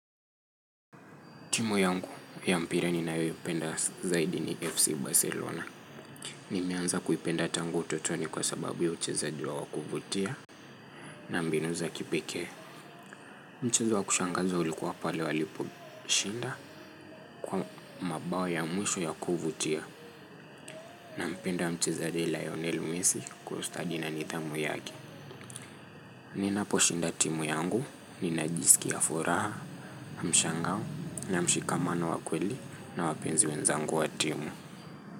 Timu yangu ya mpira ninayoipenda zaidi ni FC Barcelona. Nimeanza kuipenda tangu utotoni kwa sababu ya uchezaji wa wa kuvutia na mbinu za kipekee. Mchezo wa kushangaza ulikuwa pale walipo shinda kwa mabao ya mwisho ya kuvutia na mpenda mchezaji la Lionel Messi kwa ustadi na nidhamu yake. Ninapo shinda timu yangu, ninajisikia furaha, mshangao, na mshikamano wakweli na wapenzi wenzangu wa timu.